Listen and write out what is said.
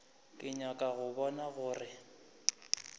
ke nyaka go bona gore